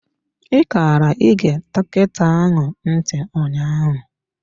I kara ị ge dọkịta ahụ ntị ụnyaahụ.